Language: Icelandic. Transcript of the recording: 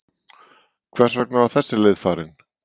En hvers vegna var þessi leið farin?